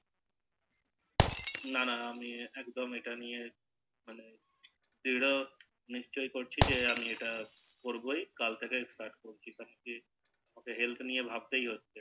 নানা আমি একদম এটা নিয়ে ধীরো নিশ্চই এটা আমি এটা করবো কাল থেকে Health নিয়ে ভাবতেই হচ্ছে